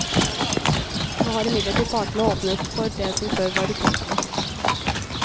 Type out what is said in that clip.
Nå har imidlertid partene åpnet for det som før var utenkelig.